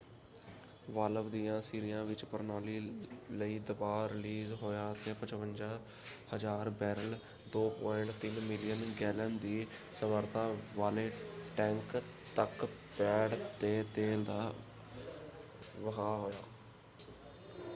Valve ਦਿਆਂ ਸਿਰਿਆਂ ਵਿਚ ਪ੍ਰਣਾਲੀ ਲਈ ਦਬਾਅ ਰਿਲੀਜ਼ ਹੋਇਆ ਅਤੇ 55,000 ਬੈਰਲ 2.3 ਮਿਲੀਅਨ ਗੈਲਨ ਦੀ ਸਮਰੱਥਾ ਵਾਲੇ ਟੈਂਕ ਤੱਕ ਪੈਡ 'ਤੇ ਤੇਲ ਦਾ ਵਹਾਅ ਹੋਇਆ।